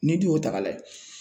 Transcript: N'i dun y'o ta k'a lajɛ